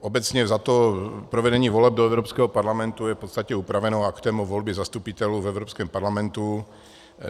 Obecně vzato, provedení voleb do Evropského parlamentu je v podstatě upraveno aktem o volbě zastupitelů v Evropském parlamentu.